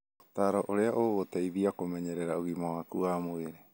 Ũtaaro wa ũrĩa gũgũteithia kũmenyerera ũgima waku wa mwĩrĩ.